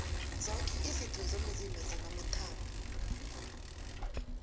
zoke izitho zomzimba zinamathambo